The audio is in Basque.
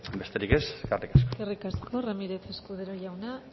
besterik ez eskerrik asko eskerrik asko ramírez escudero jauna